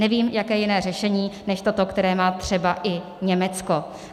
Nevím, jaké jiné řešení než toto, které má třeba i Německo.